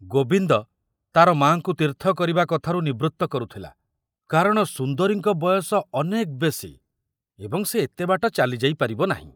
ଗୋବିନ୍ଦ ତାର ମାଙ୍କୁ ତୀର୍ଥ କରିବା କଥାରୁ ନିବୃତ୍ତ କରୁଥିଲା, କାରଣ ସୁନ୍ଦରୀଙ୍କ ବୟସ ଅନେକ ବେଶୀ ଏବଂ ସେ ଏତେ ବାଟ ଚାଲି ଯାଇ ପାରିବ ନାହିଁ।